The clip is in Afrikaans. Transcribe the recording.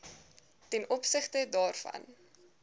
ten opsigte daarvan